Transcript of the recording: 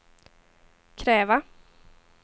kräva